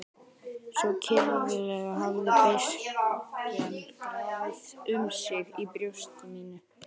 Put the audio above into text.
Svo kyrfilega hafði beiskjan grafið um sig í brjósti mínu.